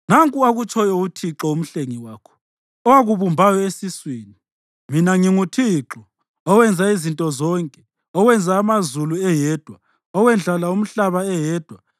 “Nanku akutshoyo uThixo, uMhlengi wakho, owakubumbayo esiswini: Mina nginguThixo, owenza izinto zonke, owenza amazulu eyedwa, owendlala umhlaba eyedwa,